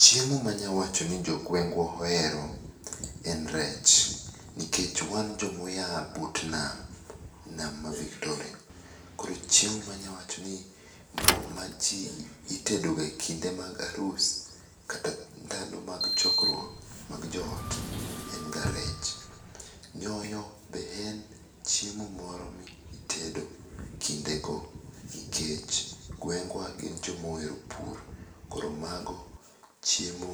Chiemo manyawacho ni jogwengwa ohero en rech, nikech wan jomoya but nam, nam ma Victoria. Koro chiemo manyawachoni itedoga e kind arus kata ndalo mag chokruok mag joot en ga rech. Nyoyo be en chiemo moro mitedo kindego nikech gwengwa gin jomohero pur, koro mago chiemo